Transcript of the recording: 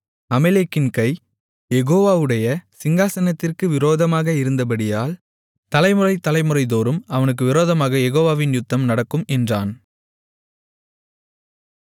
அமலேக்கின் கை யெகோவாவுடைய சிங்காசனத்திற்கு விரோதமாக இருந்தபடியால் தலைமுறை தலைமுறைதோறும் அவனுக்கு விரோதமாக யெகோவாவின் யுத்தம் நடக்கும் என்றான்